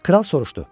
Kral soruşdu: